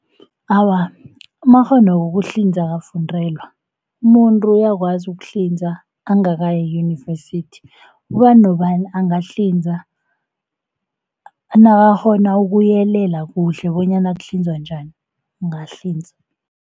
Awa, amakghono wokuhlinza akafundelwa, umuntu uyakwazi ukuhlinza angakayi eyunivesithi. Ubani nobani angahlinza, nakakgona ukuyelela kuhle bonyana kuhlinzwa njani, angahlinza.